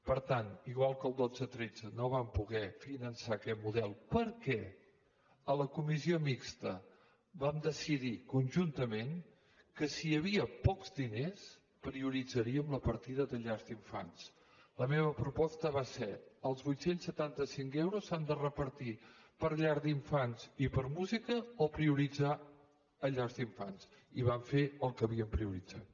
per tant igual que el dos mil dotze dos mil tretze no vam poder finançar aquest model perquè a la comissió mixta vam decidir conjuntament que si hi havia pocs diners prioritzaríem la partida de llars d’infants la meva proposta va ser els vuit cents i setanta cinc euros s’han de repartir per a llars d’infants i per a música o prioritzar llars d’infants i vam fer el que havíem prioritzat